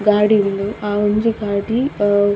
ಗಾಡಿ ಉಂಡು ಆ ಒಂಜೆ ಗಾಡಿ ಉಹ್.